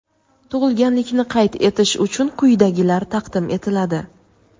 Tug‘ilganlikni qayd etish uchun quyidagilar taqdim etiladi:.